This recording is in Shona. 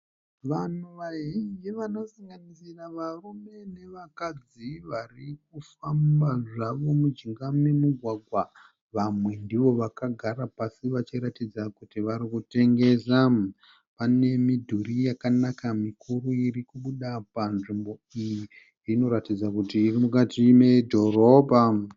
Vanhu vazhinji vanosanganisira varume nevakadzi varikufamba zvavo mujinga memugwagwa. Vamwe ndivo vakagara pasi vachiratidza kuti varikutengesa. pane midhuri yakanaka mikuru irikubuda panzvimbo iyi inokuratidza kuti irimukati medhorobha.